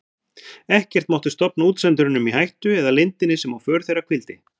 Ekkert mátti stofna útsendurunum í hættu eða leyndinni sem á för þeirra hvíldi.